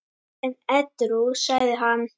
En edrú sagði hann